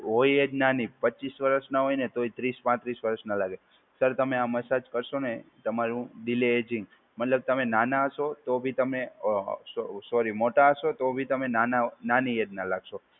હોય જ નાની. પચ્ચીસ વર્ષના હોય ને તોય ત્રીસ-પાંત્રીસ વર્ષના લાગે. સર તમે આ મસાજ કરશો ને તમારું ડિલે એજિંગ મતલબ તમે નાનાં હશો તો બી તમે અ સો સોરી મોટા હશો તો બી તમે નાંનાં નાની એજ ના લાગશો.